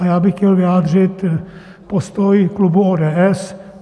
A já bych chtěl vyjádřit postoj klubu ODS.